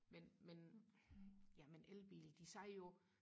men men jamen elbiler de sagde jo